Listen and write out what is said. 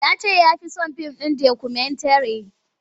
Ya ce ya fi son fim dokumentare.